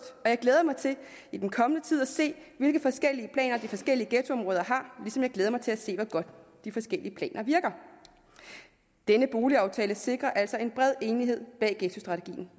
og jeg glæder mig til i den kommende tid at se hvilke forskellige planer de forskellige ghettoområder har ligesom jeg glæder mig til at se hvor godt de forskellige planer virker denne boligaftale sikrer altså en bred enighed bag ghettostrategien